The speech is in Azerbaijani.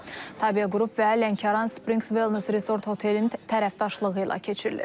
Tabe qrup və Lənkəran Springs Wellness Resort otelin tərəfdaşlığı ilə keçirilir.